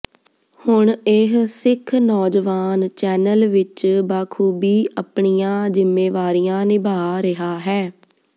ਹੁਣ ਇਹ ਸਿੱਖ ਨੌਜਵਾਨ ਚੈਨਲ ਵਿਚ ਬਾਖ਼ੂਬੀ ਅਪਣੀਆਂ ਜ਼ਿੰਮੇਵਾਰੀਆਂ ਨਿਭਾਅ ਰਿਹਾ ਹੈ